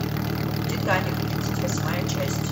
титаник тридцать восьмая часть